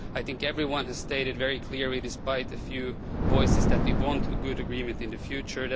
I think everyone has stated very clearly despite a few voices that they want a good agreement in the future.